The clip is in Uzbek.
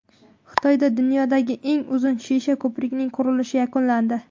Xitoyda dunyodagi eng uzun shisha ko‘prikning qurilishi yakunlandi.